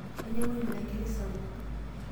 Ainyangua olmirnketi sapuk.